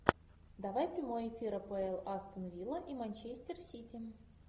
давай прямой эфир апл астон вилла и манчестер сити